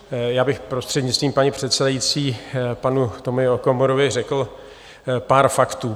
Já bych prostřednictvím paní předsedající panu Tomio Okamurovi řekl pár faktů.